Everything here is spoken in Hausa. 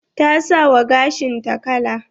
Ta sa wa gashin ta kala.